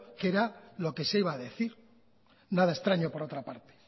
qué era lo que se iba a decir nada extraño por otra parte